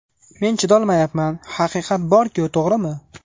Men chidolmayapman, haqiqat bor-ku, to‘g‘rimi?